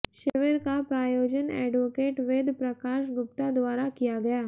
शिविर का प्रायोजन एडवोकेट वेद प्रकाश गुप्ता द्वारा किया गया